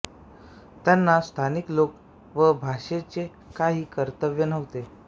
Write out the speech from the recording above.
त्यांना स्थानिक लोक व भाषेचे काही कर्तव्य नव्हते